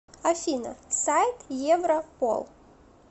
афина сайт европол